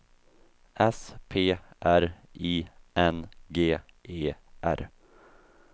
S P R I N G E R